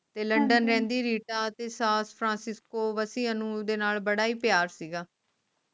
ਤੇ ਲੰਡਨ ਰਹਿੰਦੀ ਰੀਟਾ ਤੇ ਸਾਨ ਫ੍ਰਾਂਸਿਕਸਕੋ ਵਸੀ ਅਨੂ ਦੇ ਨਾਲ ਬੜਾ ਹੀ ਪਿਆਰ ਸੀਗਾ